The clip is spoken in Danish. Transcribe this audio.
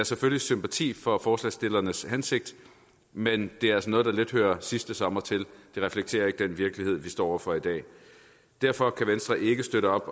selvfølgelig sympati for forslagsstillernes hensigt men det er altså noget der lidt hører sidste sommer til det reflekterer ikke den virkelighed vi står over for i dag derfor kan venstre ikke støtte